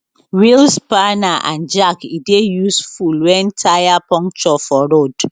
wheel spanner and jack e dey useful wen tyre puncture for road